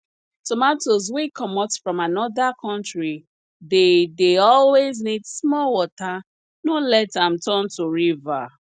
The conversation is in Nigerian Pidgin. tomatoes wey comot from anoda country dey dey always need small water no let am turn to river